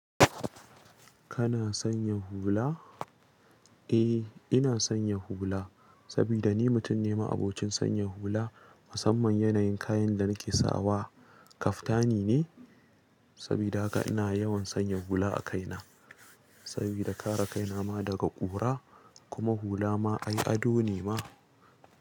Kana sanya hula? Eh, ina sanya hula saboda ni mutum ne ma'abocin sanya hula. Musamman yanayin kayan da nake sawa kaftani ne. Sabida haka ina yawan sanya hula a kaina. Saboda kare kaina ma daga ƙura kuma hula ma ai ado ne ma.